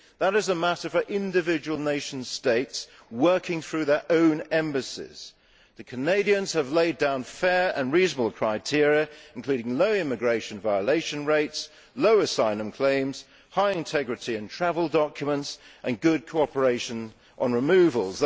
That is a matter for individual nation states working through their own embassies. The Canadians have laid down fair and reasonable criteria, including low immigration violation rates, low asylum claims, high integrity of travel documents and good cooperation on removals.